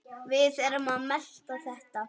Við erum að melta þetta.